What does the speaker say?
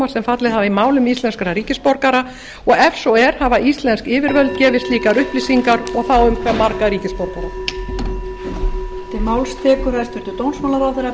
sem fallið hafa í málum íslenskra ríkisborgara ef svo er hafa íslensk yfirvöld gefið slíkar upplýsingar og um hve marga íslenska ríkisborgara